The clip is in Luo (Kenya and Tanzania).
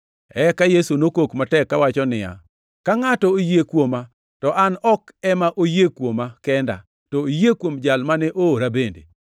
Eka Yesu nokok matek kawacho niya, “Ka ngʼato oyie kuoma, to an ok ema oyie kuoma kenda, to oyie kuom Jal mane oora bende.